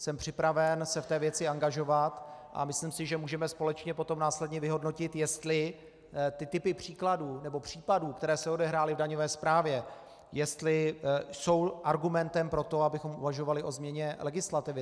Jsem připraven se v té věci angažovat a myslím si, že můžeme společně potom následně vyhodnotit, jestli ty typy příkladů nebo případů, které se odehrály v daňové správě, jestli jsou argumentem pro to, abychom uvažovali o změně legislativy.